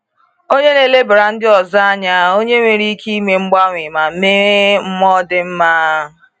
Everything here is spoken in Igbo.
Onye na-elebara ndị ọzọ anya, onye nwere ike ime mgbanwe, ma nwee mmụọ dị mma.